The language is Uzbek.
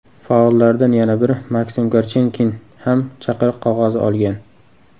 Faollardan yana biri Maksim Korchenkin ham chaqiriq qog‘ozi olgan.